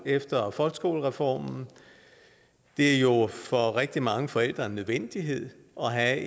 efter folkeskolereformen det er jo for rigtig mange forældre en nødvendighed at